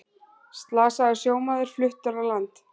Slasaður sjómaður fluttur í land